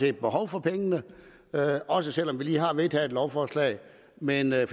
er behov for pengene også selv om vi lige har vedtaget et lovforslag men at